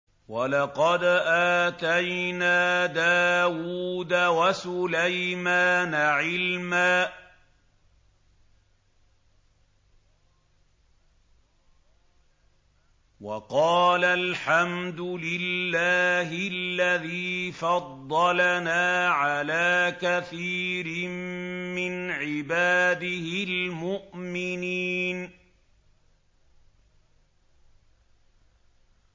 وَلَقَدْ آتَيْنَا دَاوُودَ وَسُلَيْمَانَ عِلْمًا ۖ وَقَالَا الْحَمْدُ لِلَّهِ الَّذِي فَضَّلَنَا عَلَىٰ كَثِيرٍ مِّنْ عِبَادِهِ الْمُؤْمِنِينَ